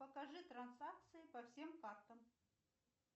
покажи транзакции по всем картам